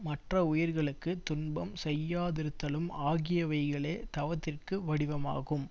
மற்ற உயிர்களுக்கு துன்பம் செய்யாதிருத்தலும் ஆகியவைகளே தவத்திற்கு வடிவமாகும்